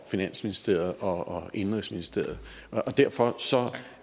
finansministeriet og økonomi og indenrigsministeriet derfor